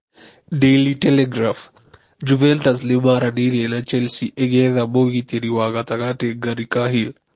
(Daily Telegraph) Juventus nĩ maranĩirie na Chelsea ĩgĩetha mũgitĩri wa gatagatĩ Gary Cahill.